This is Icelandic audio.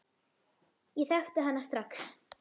Ég þekkti hana strax.